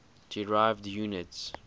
derived units